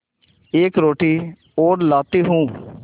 एक रोटी और लाती हूँ